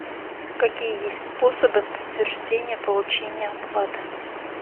какие есть способы подтверждения получения оплаты